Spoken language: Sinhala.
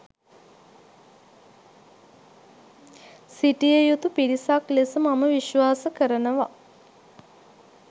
සිටිය යුතු පිරිසක් ලෙස මම විශ්වාස කරනව.